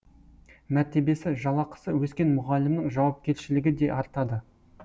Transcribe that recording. мәртебесі жалақысы өскен мұғалімнің жауапкершілігі де артады